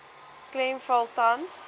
klem val tans